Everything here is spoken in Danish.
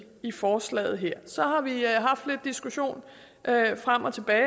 i forslaget her så har vi haft lidt diskussion frem og tilbage